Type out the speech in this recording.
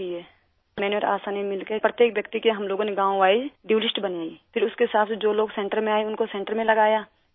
میں نے اور آشا نے مل کر ہر ایک آدمی کی گاؤں وائز ڈیو لسٹ بنائی، پھر اس کے حساب سے جو لوگ سنٹر میں آئے ان کو سنٹر میں لگایا